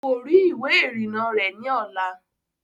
Kò rí ìwé ìrìnnà rẹ̀ ní ọ̀la